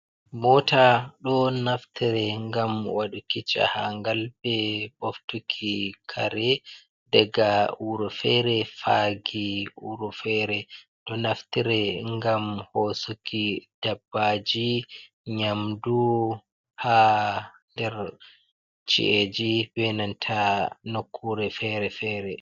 Moota ɗo naftire ngam waɗuki jahaangal, be ɓoftuki kare, daga wuro feere, faagi wuro feere. Ɗo naftire ngam hoosuki dabbaaji, nyamdu, haa nder ci’eji be nanta nokkuure feere-feere.